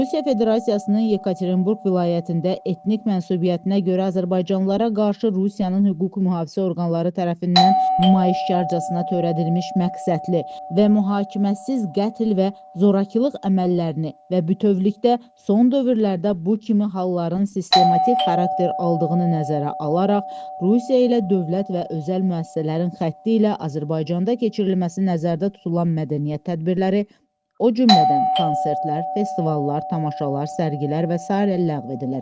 Rusiya Federasiyasının Yekaterinburq vilayətində etnik mənsubiyyətinə görə azərbaycanlılara qarşı Rusiyanın hüquq-mühafizə orqanları tərəfindən nümayişkarcasına törədilmiş məqsədli və mühakiməsiz qətl və zorakılıq əməllərini və bütövlükdə son dövrlərdə bu kimi halların sistematik xarakter aldığını nəzərə alaraq, Rusiya ilə dövlət və özəl müəssisələrin xətti ilə Azərbaycanda keçirilməsi nəzərdə tutulan mədəniyyət tədbirləri, o cümlədən konsertlər, festivallar, tamaşalar, sərgilər və sairə ləğv edilir.